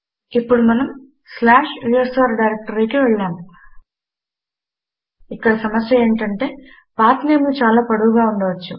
ఇప్పుడు మనము slash USR డైరెక్టరీకి వెళ్ళి నాము ఇక్కడ సమస్య ఏమిటంటే పాత్ నేమ్ లు చాలా పొడవుగా ఉండవచ్చు